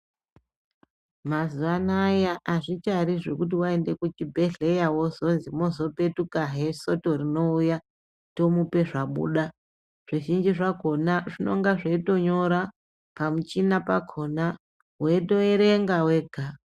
Mazuwa anaaya azvichari zvekuti waende kuchibhedhleya wozozi mwozopetukahe soto rinouya tomupe zvabuda zvizhinji zvakhona zvinoga zveitonyora pamuchina yakhona weitoerenga wega.